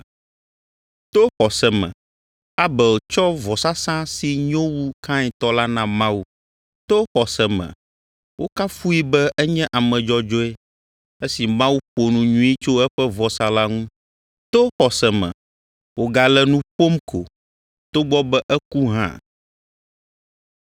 To xɔse me Abel tsɔ vɔsasa si nyo wu Kain tɔ la na Mawu. To xɔse me wokafui be enye ame dzɔdzɔe esi Mawu ƒo nu nyui tso eƒe vɔsa la ŋu. To xɔse me wògale nu ƒom ko, togbɔ be eku hã.